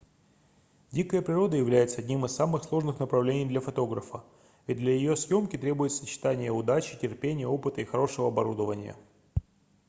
дикая природа является одним из самых сложных направлений для фотографа ведь для её съёмки требуется сочетание удачи терпения опыта и хорошего оборудования